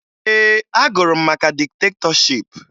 Ee, agụrụ m maka diktetọship